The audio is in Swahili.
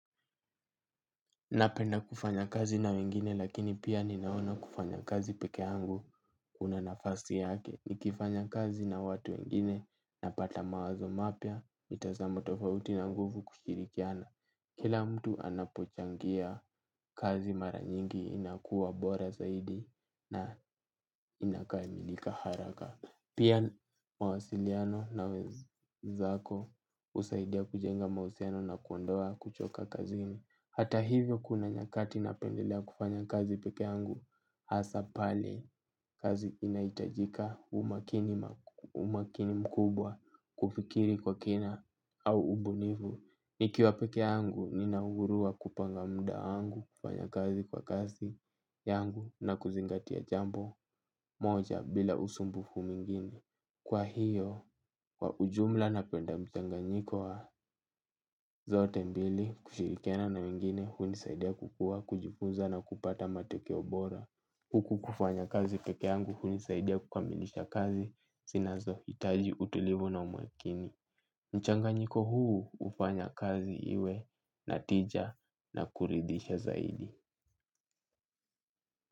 Napenda kufanya kazi na wengine lakini pia ninaona kufanya kazi peke yangu una nafasi yake. Nikifanya kazi na watu wengine napata mawazo mapya mitazamo tofauti na nguvu kushirikiana. Kila mtu anapochangia kazi mara nyingi inakuwa bora zaidi na inakamilika haraka. Pia mawasiliano na wenzako usaidia kujenga mahusiano na kuondoa kuchoka kazini. Hata hivyo kuna nyakati na pendelea kufanya kazi peke yangu hasa pale kazi inaitajika umakini mkubwa kufikiri kwa kina au ubunifu. Nikiwa peke yangu nina uhuru wa kupanga muda wangu kufanya kazi kwa kasi yangu na kuzingatia jambo moja bila usumbufu mwingine. Kwa hiyo, kwa ujumla napenda mchanganyiko wa zote mbili, kushirikiana na wengine, hunisaidia kukua, kujifunza na kupata matokeo bora. Huku kufanya kazi peke yangu, hunisaidia kukamilisha kazi, sinazo hitaji utulivu na umakini. Mchanganyiko huu, hufanya kazi iwe, natija na kuridhisha zaidi.